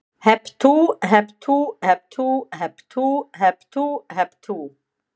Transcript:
Hep tú, hep tú, hep tú, hep tú hep tú, hep tú.